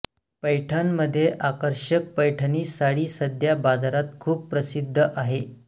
पैठणमध्ये आकर्षक पैठणी साडी सध्या बाजारात खूप प्रसिद्ध आहे